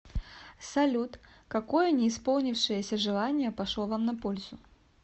салют какое не исполнившееся желание пошло вам на пользу